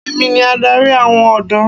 Èmi ni adarí àwọn ọ̀dọ́.